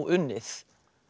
unnið